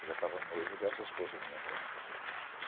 Eu já tava noivo dessa esposa minha agora.